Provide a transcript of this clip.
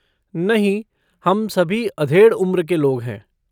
नहीं, हम सभी अधेड़ उम्र के लोग हैं।